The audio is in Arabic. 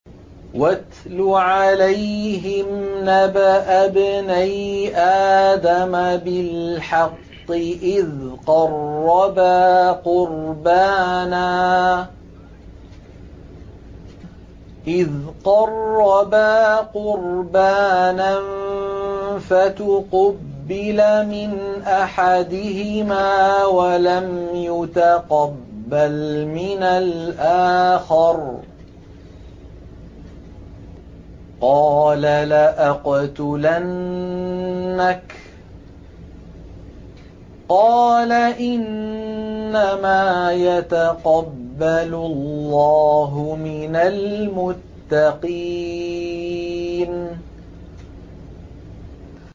۞ وَاتْلُ عَلَيْهِمْ نَبَأَ ابْنَيْ آدَمَ بِالْحَقِّ إِذْ قَرَّبَا قُرْبَانًا فَتُقُبِّلَ مِنْ أَحَدِهِمَا وَلَمْ يُتَقَبَّلْ مِنَ الْآخَرِ قَالَ لَأَقْتُلَنَّكَ ۖ قَالَ إِنَّمَا يَتَقَبَّلُ اللَّهُ مِنَ الْمُتَّقِينَ